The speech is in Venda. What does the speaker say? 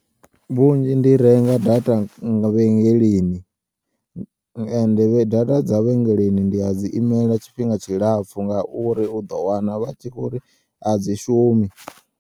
Vhunzhi ndi renga data nga vhengeleni ende data dza vhengeleni ndi a dzi imela tshifhinga tshilapfu ngauri uḓo wana vha tshi kho uri a dzi shumi.